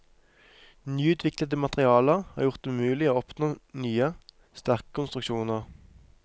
Nyutviklede materialer har gjort det mulig å oppnå nye, sterke konstruksjoner.